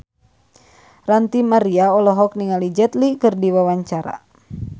Ranty Maria olohok ningali Jet Li keur diwawancara